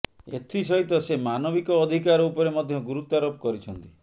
ଏଥିସହିତ ସେ ମାନବିକ ଅଧିକାର ଉପରେ ମଧ୍ୟ ଗୁରୁତ୍ୱାରୋପ କରିଛନ୍ତି